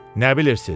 Nə bilirsiz?